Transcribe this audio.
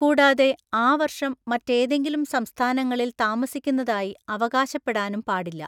കൂടാതെ, ആ വർഷം മറ്റേതെങ്കിലും സംസ്ഥാനങ്ങളിൽ താമസിക്കുന്നതായി അവകാശപ്പെടാനും പാടില്ല.